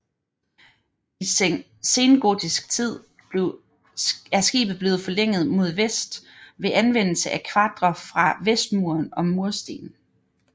I sengotisk tid er skibet blevet forlænget mod vest ved anvendelse af kvadre fra vestmuren og mursten